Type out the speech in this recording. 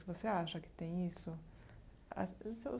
Você acha que tem isso? A o seu